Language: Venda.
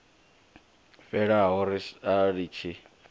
fhelaho ri sa litshi u